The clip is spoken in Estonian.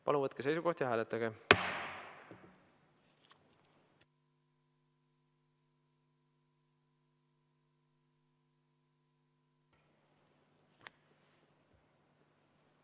Palun võtke seisukoht ja hääletage!